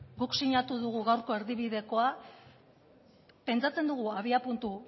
guk sinatu dugu gaurko erdibidekoa pentsatzen dugu abiapuntu